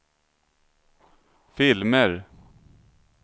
filmer